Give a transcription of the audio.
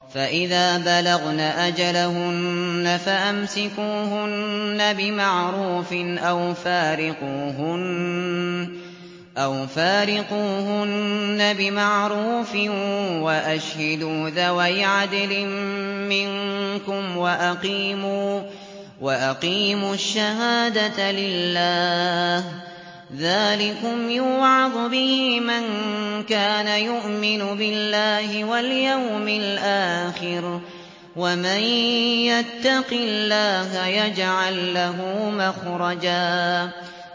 فَإِذَا بَلَغْنَ أَجَلَهُنَّ فَأَمْسِكُوهُنَّ بِمَعْرُوفٍ أَوْ فَارِقُوهُنَّ بِمَعْرُوفٍ وَأَشْهِدُوا ذَوَيْ عَدْلٍ مِّنكُمْ وَأَقِيمُوا الشَّهَادَةَ لِلَّهِ ۚ ذَٰلِكُمْ يُوعَظُ بِهِ مَن كَانَ يُؤْمِنُ بِاللَّهِ وَالْيَوْمِ الْآخِرِ ۚ وَمَن يَتَّقِ اللَّهَ يَجْعَل لَّهُ مَخْرَجًا